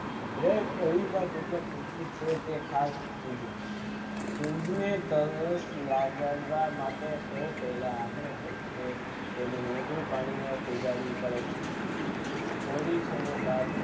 દરેક દ્રવી માં દ્વિત્ય જરૂરી છે તે ખાસ જોએ મેઘધનુષ લાવા માટે સૌ પેહલા આપણે પોતે તેનું નોંધી પાણી આહિયા પડે છે પોલીથીન બાદ